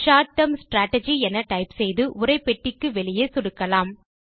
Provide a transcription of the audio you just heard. short term strategy என type செய்து உரைப் பெட்டிக்கு வெளியே சொடுக்கலாம்